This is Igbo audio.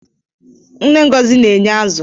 Nne Ngozi na-eye azụ